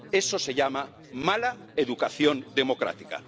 Eso se llama mala educación democrática.